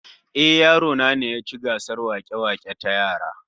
Ehh, yaro na ne ya ci gasar wake-wake ta yara